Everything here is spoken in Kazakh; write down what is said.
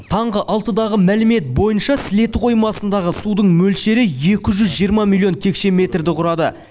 таңғы алтыдағы мәлімет бойынша сілеті қоймасындағы судың мөлшері екі жүз жиырма миллион текше метрді құрады